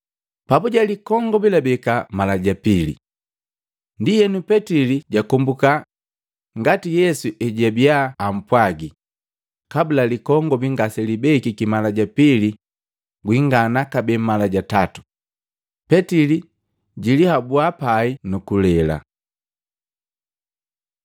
Papuje likongobi labeka mala ja pili. Ndienu, Petili jakombuka ngati Yesu ejwabia ampwagii, “Kabula likongobi ngaselibekiki mala ja pili, gwingana kabee mala ja tatu.” Petili jilihabuu pai nukulela.